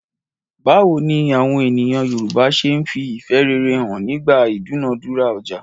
Báwo ni àwọn ènìyàn Yorùbá ṣe ń fi ìfẹ́ rere hàn nígbà ìdúnàádúrà ọjà?